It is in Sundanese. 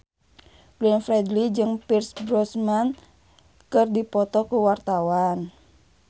Glenn Fredly jeung Pierce Brosnan keur dipoto ku wartawan